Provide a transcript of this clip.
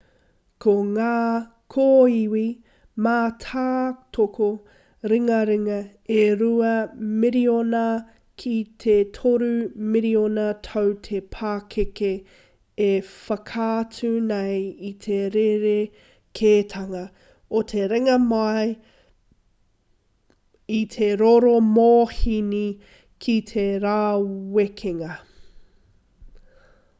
ko ngā kōiwi mātātoko ringaringa e rua miriona ki te toru miriona tau te pakeke e whakaatu nei i te rerekētanga o te ringa mai i te rokomōhini ki te rāwekenga